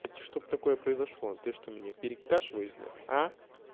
это чтоб такое произошло ты что меня перекашиваешь блять а